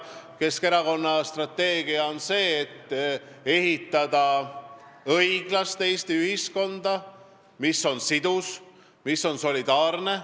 Keskerakonna strateegia on ehitada õiglast Eesti ühiskonda, mis on sidus, mis on solidaarne.